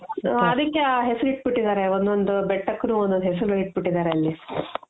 ಹ ಅದಿಕ್ಕೆ ಆ ಹೆಸರು ಇಟ್ಟು ಬಿಟ್ಟಿದಾರೆ ಒಂದೊಂದು ಬೆಟ್ಟಕ್ಕುನು ಒಂದೊಂದು ಹೆಸರು ಇಟ್ಟು ಬಿಟ್ಟಿದಾರೆ ಅಲ್ಲಿ